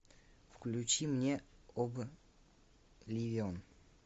включи мне обливион